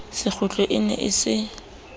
sekgutlo e ne e se